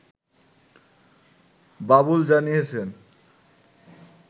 বাবুল জানিয়েছেন